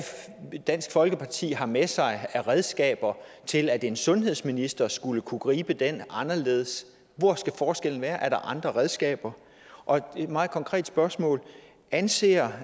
dansk folkeparti har med sig af redskaber til at en sundhedsminister skulle kunne gribe den anderledes hvor skal forskellen være er der andre redskaber og et meget konkret spørgsmål anser